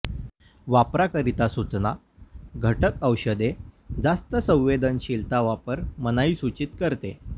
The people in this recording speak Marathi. वापराकरिता सूचना घटक औषधे जास्त संवेदनशीलता वापर मनाई सूचित करते